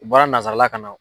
U bɔra nasarala ka na.